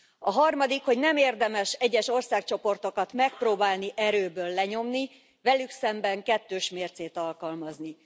A harmadik, hogy nem érdemes egyes országcsoportokat megpróbálni erőből lenyomni, velük szemben kettős mércét alkalmazni.